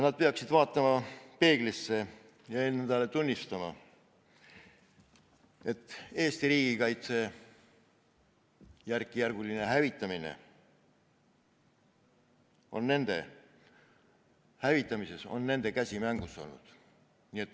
Nad peaksid peeglisse vaatama ja endale tunnistama, et Eesti riigikaitse järkjärgulisel hävitamisel on nende käsi mängus olnud.